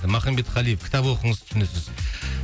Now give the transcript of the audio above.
махамбет қалиев кітап оқыңыз түсінесіз